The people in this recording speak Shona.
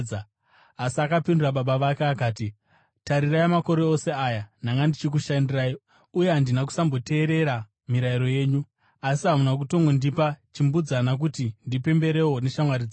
Asi akapindura baba vake akati, ‘Tarirai! Makore ose aya ndanga ndichikushandirai uye handina kusamboteerera mirayiro yenyu. Asi hamuna kutongondipa chimbudzana kuti ndipemberewo neshamwari dzangu.